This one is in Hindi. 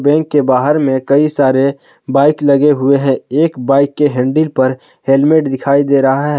बैंक के बाहर में कई सारे बाइक लगे हुए हैं एक बाइक के हैंडल पर हेलमेट दिखाई दे रहा है।